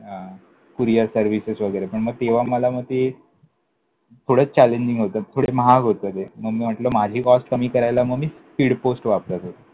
हां, courier services वगैरे, पण मग तेव्हा मला मग ते पुढे challenging होतं. पुढे महाग होतं ते, मग म्हटलं माझी cost कमी करायला मग मी speed post वापरत होतो.